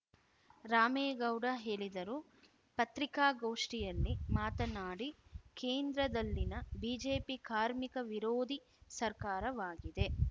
ರಾಮೇಗೌಡ ಹೇಳಿದರು ಪತ್ರಿಕಾಗೋಷ್ಠಿಯಲ್ಲಿ ಮಾತನಾಡಿ ಕೇಂದ್ರದಲ್ಲಿನ ಬಿಜೆಪಿ ಕಾರ್ಮಿಕ ವಿರೋಧಿ ಸರ್ಕಾರವಾಗಿದೆ